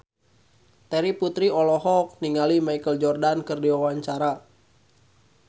Terry Putri olohok ningali Michael Jordan keur diwawancara